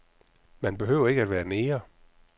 Man behøver ikke være neger.